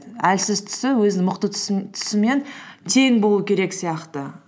әлсіз тұсы өзінің мықты тең болу керек сияқты